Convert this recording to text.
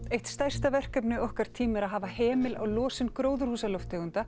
eitt stærsta verkefni okkar tíma er að hafa hemil á losun gróðurhúsalofttegunda